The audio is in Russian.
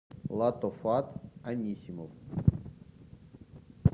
латофат анисимов